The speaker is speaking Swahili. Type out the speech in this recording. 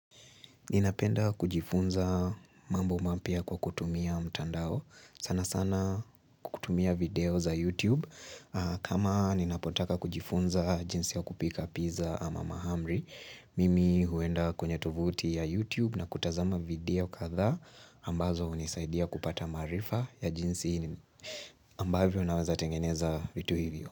Ninapenda kujifunza mambo mapya kwa kutumia mtandao. Sana sana kutumia video za YouTube. Kama ninapotaka kujifunza jinsi ya kupika pizza ama mahamri, mimi huenda kwenye tovuti ya YouTube na kutazama video kadhaa ambazo hunisaidia kupata maarifa ya jinsi ambavyo nawezatengeneza vitu hivyo.